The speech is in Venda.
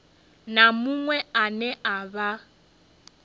na muṅwe ane a vha